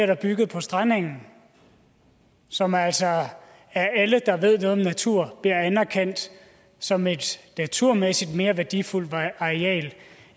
der bygget på strandengen som altså af alle der ved noget om natur bliver anerkendt som et naturmæssigt mere værdifuldt areal